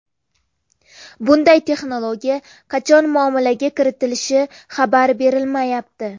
Bunday texnologiya qachon muomalaga kiritilishi xabar berilmayapti.